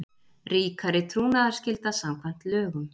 Ríkari trúnaðarskylda samkvæmt lögum